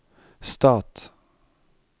stat